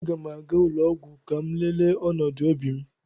Aga m aga ụlọ ọgwụ ka m lelee ọnọdụ obi m